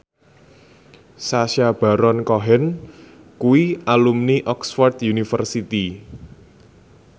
Sacha Baron Cohen kuwi alumni Oxford university